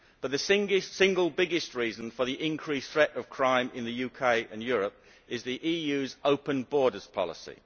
But the single biggest reason for the increased threat of crime in the UK and Europe is the EU's open borders policy.